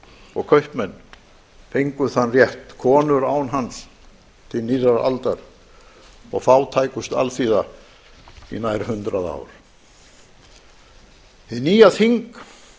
og kaupmenn fengu þann rétt konur án hans til nýrrar aldar og fátækust alþýða í nær hundrað ár hið nýja þing